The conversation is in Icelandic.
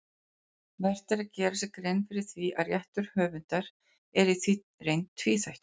Vert er að gera sér grein fyrir því að réttur höfundar er í reynd tvíþættur.